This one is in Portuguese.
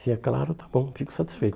Se é claro, está bom, fico satisfeito.